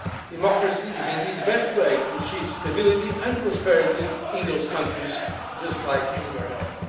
Democracy is indeed the best way to achieve stability and prosperity in those countries, just like anywhere else.